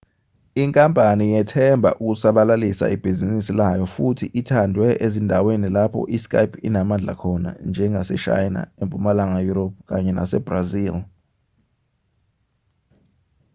inkampani yethemba ukusabalalisa ibhizinisi layo futhi ithandwe ezindaweni lapho i-skype inamandla khona njengaseshayina empumalanga yurophu kanye nasebrazil